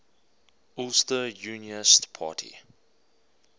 ulster unionist party